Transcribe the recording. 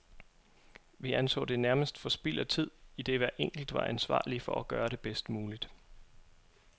Vi anså det nærmest for spild af tid, idet hver enkelt var ansvarlig for at gøre det bedst muligt.